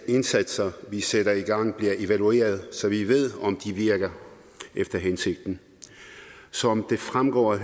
indsatser vi sætter i gang bliver evalueret så vi ved om de virker efter hensigten som det fremgår af